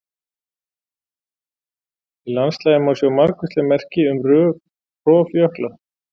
Í landslagi má sjá margvísleg merki um rof jökla.